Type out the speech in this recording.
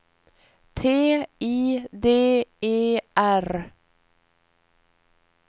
T I D E R